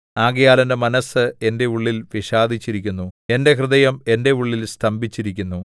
ആകയാൽ എന്റെ മനസ്സ് എന്റെ ഉള്ളിൽ വിഷാദിച്ചിരിക്കുന്നു എന്റെ ഹൃദയം എന്റെ ഉള്ളിൽ സ്തംഭിച്ചിരിക്കുന്നു